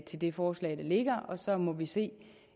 til det forslag der ligger og så må vi se